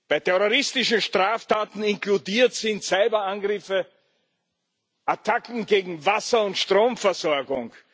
Bei terroristischen Straftaten inkludiert sind Cyber Angriffe, Attacken gegen Wasser und Stromversorgung.